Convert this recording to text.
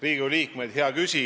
Riigikogu liikmed!